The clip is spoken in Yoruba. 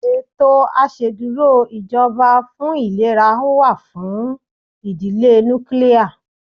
Ètò àṣẹ dúró ìjọba fún ìlera wà fún ìdílé núkíláá.